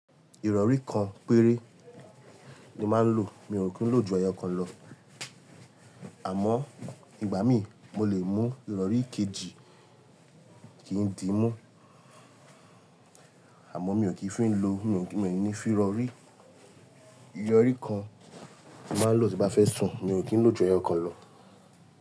Ìrọ̀rí kan péré ni máa ń lò. Mi ò kí ń lò ju ẹyọ kan lọ. Àmọ́, ìgbà mí mo lè mú ìrọ̀rí kejì kì n di mú. Àmọ́ mi ò kí ń fi ló, mi ò ní fi rọ̀rí. Ìrọ̀rí kan ni máa ń lò tí bá fẹ́ sùn, mi ò kí ń lò ju ẹyọ kan lọ.